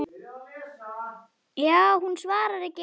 Lilla var komin.